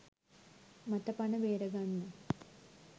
මත පණ බේරගන්න